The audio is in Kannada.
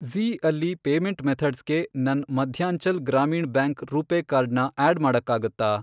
ಜೀ಼ ಅಲ್ಲಿ ಪೇಮೆಂಟ್ ಮೆಥಡ್ಸ್ಗೆ ನನ್ ಮಧ್ಯಾಂಚಲ್ ಗ್ರಾಮೀಣ್ ಬ್ಯಾಂಕ್ ರೂಪೇ ಕಾರ್ಡ್ ನ ಆಡ್ ಮಾಡಕ್ಕಾಗತ್ತಾ?